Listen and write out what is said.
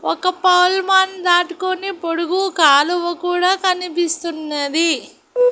ఒక పోల్మన్ దాటుకొని పొడుగు కాలువ కూడా కనిపిస్తున్నది.